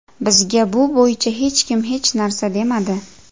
Bizga bu bo‘yicha hech kim hech narsa demadi.